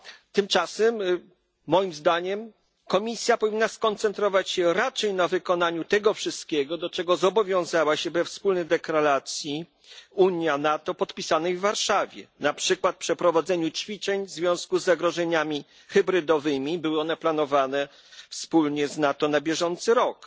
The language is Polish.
Tymczasem moim zdaniem Komisja powinna skoncentrować się raczej na wykonaniu tego wszystkiego, do czego zobowiązała się we wspólnej deklaracji Unia NATO podpisanej w Warszawie, na przykład na przeprowadzeniu ćwiczeń w związku z zagrożeniami hybrydowymi były one planowane wspólnie z NATO na bieżący rok.